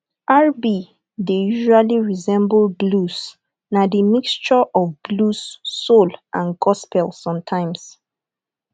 rb dey usally resemble blues na di mixture of blues soul and gospel sometimes